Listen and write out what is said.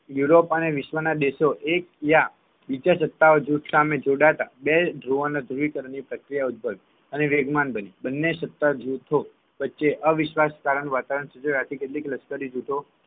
Europe અને વિશ્વના દેશો એકયા બીજા સત્તા જૂથો સામે જોડાતા બે જોડા ની ધ્રુવીકરણ ની પ્રક્રિયા ઉદ્ભવી અને વેગમાન બની બંને સત્તા જૂથો વચ્ચે અવિશ્વાસ કરણ નું વાતાવરણ સર્જાતા કેટલી લશ્કરી જૂથો